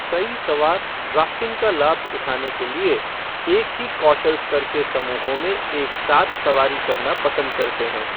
कई सवार ड्राफ़्टिंग का लाभ उठाने के लिए एक ही कौशल स्तर के समूहों में एक साथ सवारी करना पसंद करते हैं।